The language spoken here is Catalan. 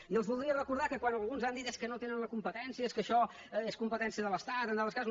i els voldria recordar que quan alguns han dit és que no tenen la competència és que això és competència de l’estat en altres casos